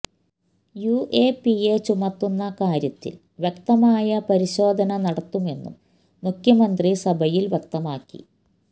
UAPA ചുമത്തുന്ന കാര്യത്തില് വ്യക്തമായ പരിശോധന നടത്തുമെന്നും മുഖ്യമന്ത്രി സഭയില് വ്യക്തമാക്കി